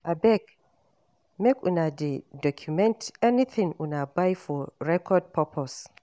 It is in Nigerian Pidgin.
Abeg make una dey document anything una buy for record purpose